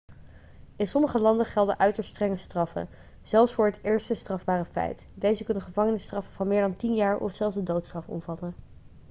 in sommige landen gelden uiterst strenge straffen zelfs voor het eerste strafbare feit deze kunnen gevangenisstraffen van meer dan 10 jaar of zelfs de doodstraf omvatten